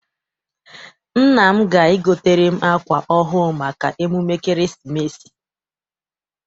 Nna m ga- egotere m akwa ọhụụ maka emume ekeresimesi.